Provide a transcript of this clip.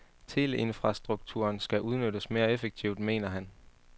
Teleinfrastrukturen skal udnyttes mere effektivt, mener han.